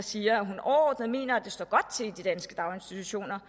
siger at hun overordnet mener at det står godt til i de danske daginstitutioner